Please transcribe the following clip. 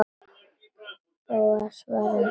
Bóas svaraði engu.